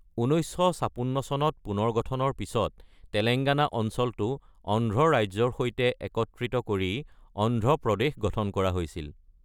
১৯৫৬ চনত পুনৰ্গঠনৰ পিছত তেলেংগানা অঞ্চলটো অন্ধ্ৰ ৰাজ্যৰ সৈতে একত্ৰিত কৰি অন্ধ্ৰ প্ৰদেশ গঠন কৰা হৈছিল।